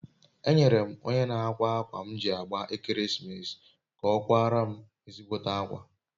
enyere m onye n'akwa akwa akwa m ji agba ekeresimeesi ka o kwara m ezigbote akwa